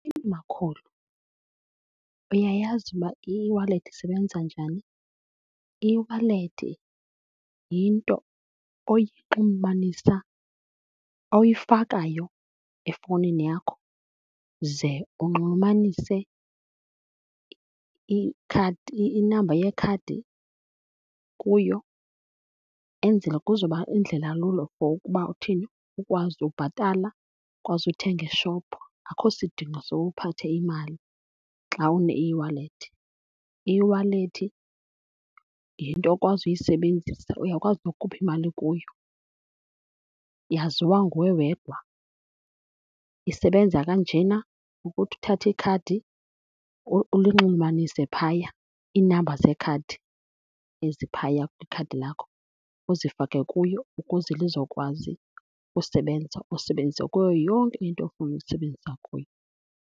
Makhulu, uyayazi uba i-eWallet isebenza njani? I-eWallet yinto oyinxulumanisa, oyifakayo efowunini yakho ze unxulumanise ikhadi, inamba yekhadi kuyo. Enzele kuzoba yindlela lula for ukuba uthini? Ukwazi ukubhatala, ukwazi uthenga eshophu. Akho sidingo soba uphathe imali xa une-eWallet. I-eWallet yinto okwazi uyisebenzisa, uyakwazi nokukhupha imali kuyo, yaziwa nguwe wedwa. Isebenza kanjena, ukuthi uthathe ikhadi ulinxulumanise phaya, iinamba zeekhadi eziphaya kwikhadi lakho, uzifake kuyo ukuze lizokwazi usebenza, ulisebenzise kuyo yonke into ofuna ulisebenzisa kuyo.